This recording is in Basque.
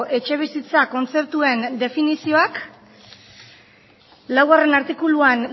etxebizitzak kontzeptuen definizioak laugarrena artikuluan